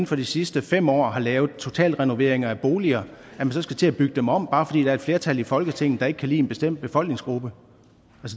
for de sidste fem år har lavet totalrenoveringer af boliger og at man så skal til at bygge dem om bare fordi der er et flertal i folketinget der ikke kan lide en bestemt befolkningsgruppe